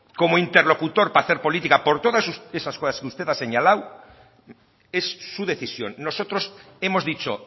como interlocutor para hacer política por todas esas cosas que usted ha señalado es su decisión nosotros hemos dicho